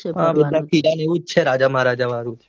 એવું જ છે રાજા મહારાજા જેવું